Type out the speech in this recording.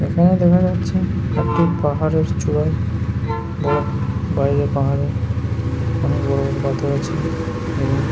এখানে দেখা যাচ্ছে একটি পাহাড়ের চূড়ায় পাহাড়ে অনেক বড় বড় পাথর আছে এবং--